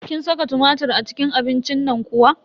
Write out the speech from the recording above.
Kin saka tumatir a cikin abincin nan kuwa?